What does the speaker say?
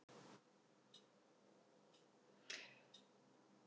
Erla Björg: Ertu bjartsýnn með svona nauman meirihluta?